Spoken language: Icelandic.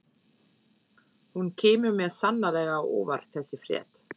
Hún kemur mér sannarlega á óvart þessi frétt.